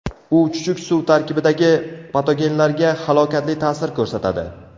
U chuchuk suv tarkibidagi patogenlarga halokatli ta’sir ko‘rsatadi.